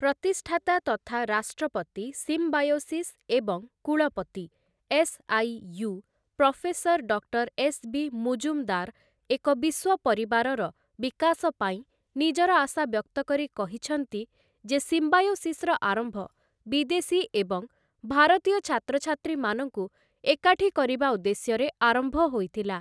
ପ୍ରତିଷ୍ଠାତା ତଥା ରାଷ୍ଟ୍ରପତି ସିମ୍ବାୟୋସିସ୍ ଏବଂ କୁଳପତି, SIU., professor doctor S B. Mujumdar ଏକ ବିଶ୍ୱ ପରିବାରର ବିକାଶ ପାଇଁ ନିଜର ଆଶା ବ୍ୟକ୍ତ କରି କହିଛନ୍ତି, ଯେ, ସିମ୍ବାୟୋସିସ୍‌ର ଆରମ୍ଭ ବିଦେଶୀ ଏବଂ ଭାରତୀୟ ଛାତ୍ରଛାତ୍ରୀମାନଙ୍କୁ ଏକାଠି କରିବା ଉଦ୍ଦେଶ୍ୟରେ ଆରମ୍ଭ ହୋଇଥିଲା ।